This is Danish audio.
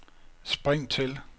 spring til